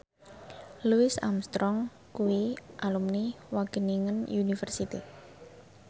Louis Armstrong kuwi alumni Wageningen University